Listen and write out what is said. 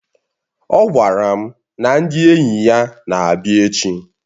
Ọ gwara m na ndị enyi ya na-abịa echi